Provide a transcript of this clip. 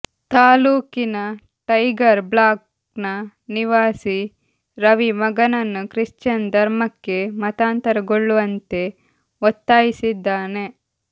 ತಾಲ್ಲೂಕಿನ tiger block ನ ನಿವಾಸಿ ರವಿ ಮಗನನ್ನು ಕ್ರಿಶ್ಚಿಯನ್ ಧರ್ಮಕ್ಕೆ ಮತಾಂತರಗೊಳ್ಳುವಂತೆ ಒತ್ತಾಯಿಸಿದ್ದಾನೆ